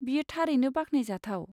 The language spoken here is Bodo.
बेयो थारैनो बाख्नायजाथाव।